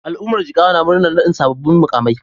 Al'ummar Jigawa na murnar naɗin sabbin muƙamai.